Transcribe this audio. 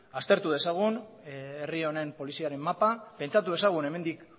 aztertu dezagun herri honen poliziaren mapa pentsatu dezagun hemendik